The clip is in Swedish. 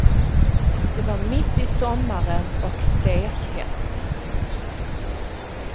Det var mitt i sommaren och stekhett.